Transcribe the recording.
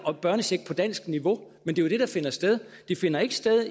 er børnecheck på dansk niveau men det er jo det der finder sted det finder ikke sted